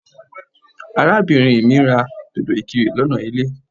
Arábìnrin mí ra dòdò ìkirè lọ́nà ilé.